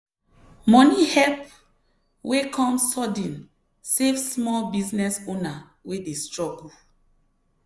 money help wey come sudden save small business owner wey dey struggle.